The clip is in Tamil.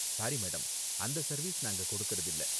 Sorry, madam. அந்த சர்வீஸ் நாங்க கொடுக்கறதில்ல.